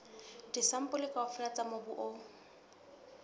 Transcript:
disampole kaofela tsa mobu o